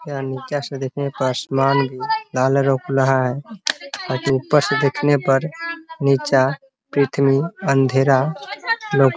यहाँ नीचे से देखने पर आसमान भी लाल लौक रहा है । अथी ऊपर से देखने पर नीचा पुर्थ्वी अँधेरा लौक --